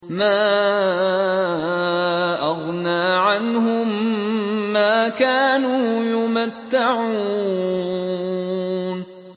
مَا أَغْنَىٰ عَنْهُم مَّا كَانُوا يُمَتَّعُونَ